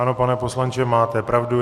Ano, pane poslanče, máte pravdu.